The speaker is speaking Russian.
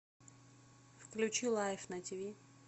включи лайф на тиви